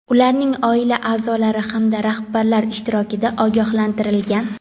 ularning oila a’zolari hamda rahbarlar ishtirokida ogohlantirilgan.